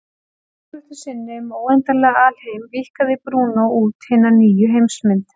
Með ályktun sinni um óendanlegan alheim víkkaði Brúnó út hina nýju heimsmynd.